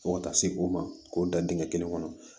Fo ka taa se o ma k'o da dingɛ kelen kɔnɔ